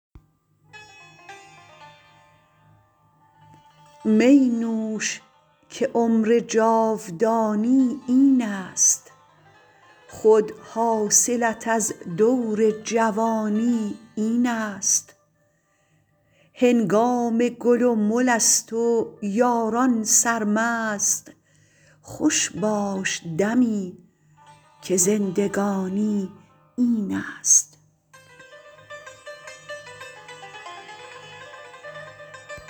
می نوش که عمر جاودانی این است خود حاصلت از دور جوانی این است هنگام گل و مل است و یاران سرمست خوش باش دمی که زندگانی این است